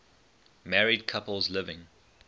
married couples living